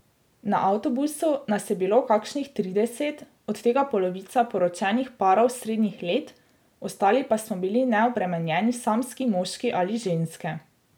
Na avtobusu nas je bilo kakšnih trideset, od tega polovica poročenih parov srednjih let, ostali pa smo bili neobremenjeni samski moški ali ženske.